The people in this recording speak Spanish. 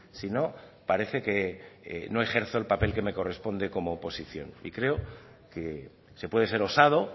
si no parece que no ejerzo el papel que me corresponde como oposición y creo que se puede ser osado